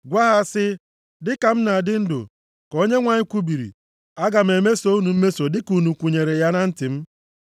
Gwa ha si, ‘Dị ka m na-adị ndụ, ka Onyenwe anyị kwubiri, aga m emeso unu mmeso dịka unu kwunyere ya na ntị m.